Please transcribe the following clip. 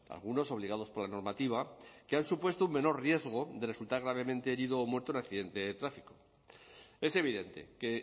algunos obligados por la normativa que han supuesto un menor riesgo de resultar gravemente herido o muerto en accidente de tráfico es evidente que